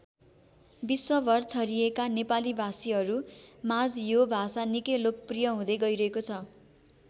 विश्वभर छरिएका नेपाली भाषीहरू माझ यो भाषा निकै लोकप्रिय हुँदै गैरहेको छ।